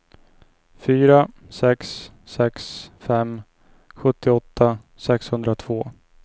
fyra sex sex fem sjuttioåtta sexhundratvå